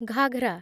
ghagra